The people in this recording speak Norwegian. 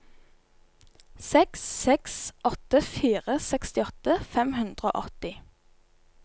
seks seks åtte fire sekstiåtte fem hundre og åtti